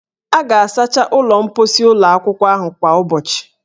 A ga-asacha ụlọ mkposi ụlọ akwụkwọ ahụ kwa ụbọchị